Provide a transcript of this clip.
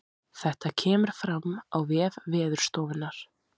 Þetta kemur fram á vef veðurstofunnar